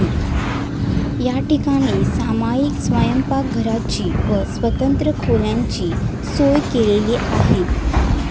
या ठिकाणी सामाईक स्वयंपाकघरची व स्वतंत्र खोल्यांची सोय केलेली आहे.